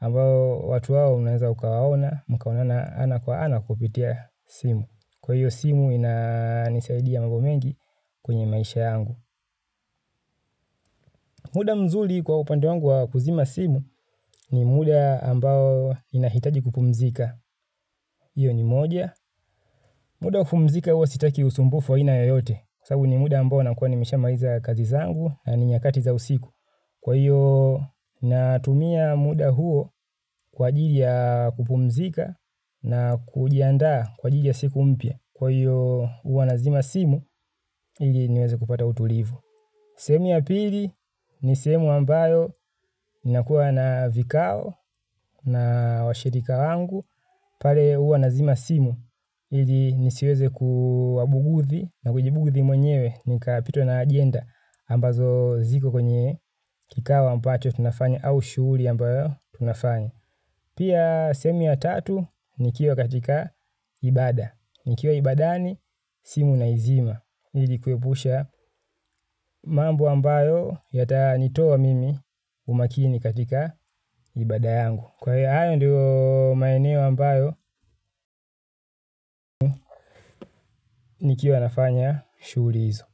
ambao watu hao unaweza ukawaona mkaonana ana kwa ana kupitia simu kwa hiyo simu inanisaidia mambo mengi kwenye maisha yangu. Muda mzuri kwa upande wangu wa kuzima simu ni muda ambao ninahitaji kupumzika. Hiyo ni moja. Muda wa kupumzika huwa sitaki usumbufu wa ina yoyote. Sababu ni muda ambao nakuwa nimeshamaliza kazi zangu na ni nyakati za usiku. Kwa hiyo natumia muda huo kwa ajili ya kupumzika na kujiandaa kwa ajili ya siku mpya. Kwa hiyo huwa nazima simu ili niweze kupata utulivu. Sehemu ya pili ni sehemu ambayo ninakuwa na vikao na washirika wangu pale huwa nazima simu ili nisiweze kuwabughudhi na kujibughudhi mwenyewe nikapitwa na ajenda ambazo ziko kwenye kikao ambacho tunafanya au shughuli ambayo tunafanya. Pia sehemu ya tatu nikiwa katika ibaada nikiwa ibaadani simu naizima ili kuepusha mambo ambayo yatanitoa mimi umakini katika ibaada yangu kwa hiyo hayo ndiyo maeneo ambayo nikiwa nafanya shughuli hizo.